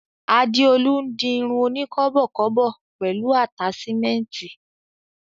Adeolu n di irun oni kọ́bọ̀kọ́bọ̀ pẹlu ataṣimẹnti.